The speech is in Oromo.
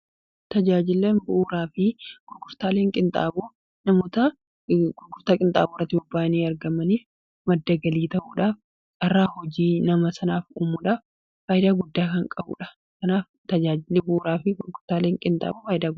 Tajaajila bu'uuraa fi gurgurtaaleen namoota gurgurtaa qinxaaboo irratti bobba'anii argamanii madda galii ta'uudhaan carraa hojii nama sanaaf uumudhaaf faayidaa guddaa kan qabudha. Kanaaf tajaajilli bu'uuraa fi gurgurtaaleen qinxaaboo faayidaalee gurguddaa qabu.